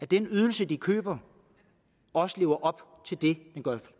den ydelse de køber også lever op til det